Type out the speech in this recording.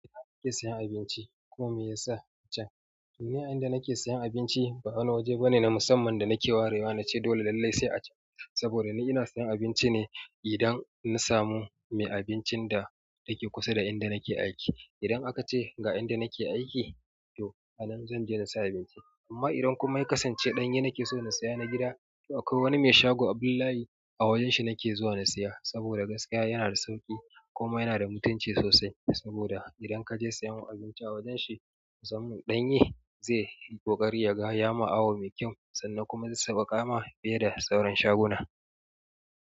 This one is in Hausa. Nake sayan abinci kuma me yasa can? To ni a inda nake sayan abinci ba wani waje bane na musamman da nake warewa nace dole lallai sai a can. Saboda ni ina sayan abinci ne idan na samu mai abincin da yake kusa da inda nake aiki. Idan aka ce ga inda nake aiki, to a nan zan je na saya abinci. Amma idan kuma ya kasance ɗanye nake so na siya na gida, to akwai wani mai shago Abdullahi a wajen shi nake zuwa na siya. Saboda gaskiya yana da sauƙi kuma yana da mutunci sosai. Saboda idan kaje sayan abinci a wajen shi musamman ɗanye zai yi ƙoƙari ya ga ya ma awu me kyau sannan kuma zai sauƙaƙa ma fiye da sauran shaguna.